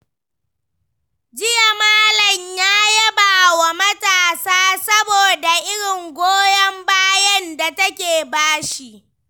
Jiya, Malam ya yaba wa matarsa saboda irin goyon bayan da take ba shi.